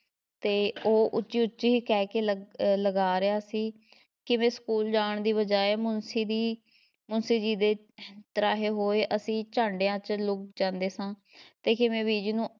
ਤੇ ਉਹ ਉੱਚੀ-ਉੱਚੀ ਕਹਿਕੇ ਲ~ ਅਹ ਲਗਾ ਰਿਹਾ ਸੀ ਕਿਵੇਂ school ਜਾਣ ਦੀ ਬਜਾਏ ਮੁਨਸ਼ੀ ਦੀ ਮੁਨਸ਼ੀ ਜੀ ਦੇ ਤ੍ਰਾਹੇ ਹੋਏ ਅਸੀਂ ਝਾਡੀਆਂ ‘ਚ ਲੁੱਕ ਜਾਦੇ ਸਾਂ ਤੇ ਕਿਵੇਂ ਬੀਜੀ ਨੂੰ